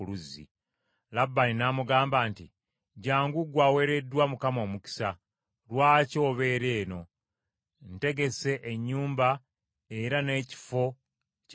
Labbaani n’amugamba nti, “Jjangu gwe aweereddwa Mukama omukisa. Lwaki obeera eno? Ntegesse ennyumba era n’ekifo ky’eŋŋamira.”